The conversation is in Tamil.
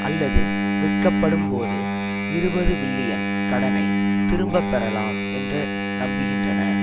அல்லது விற்கப்படும்போது இருபது பில்லியன் கடனை திரும்ப பெறலாம் என்ற நம்புகின்றன